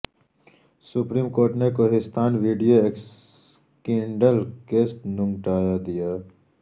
supreme court نے Kohistan video scandal case نمٹا دیا